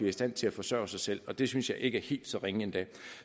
i stand til at forsørge sig selv og det synes jeg ikke er helt så ringe endda